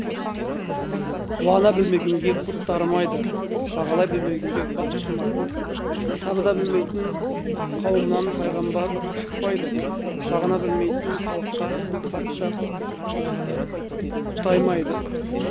қуана білмегенге құт дарымайды бағалай білмегенге бақ тұрмайды табына білмейтін қауымнан пайғамбар шықпайды бағына білмейтін халыққа патша құтаймайды